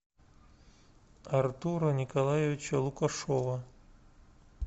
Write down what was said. артура николаевича лукашова